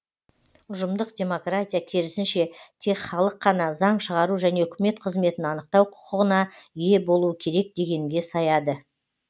ұжымдық демократия керісінше тек халық қана заң шығару және үкімет қызметін анықтау құқығына ие болуы керек дегенге саяды